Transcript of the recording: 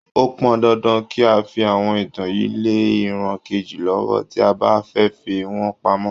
Ó pọn dandan kí a fi àwọn ìtàn yìí lé ìran kejì lọ́wọ́, tí a bá fẹ́ fi wọ́n pamọ́.